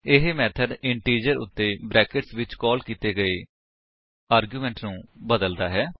ਇਹ method integer ਉੱਤੇ bracket ਵਿੱਚ ਕਾਲ ਕੀਤੇ ਗਏ ਆਰਗੁਮੇਟ ਨੂੰ ਬਦਲਦਾ ਹੈ